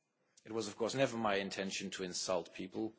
It was, of course, never my intention to insult people.